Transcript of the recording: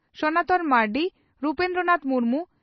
Sanatan Marandi Rabindranath Murmu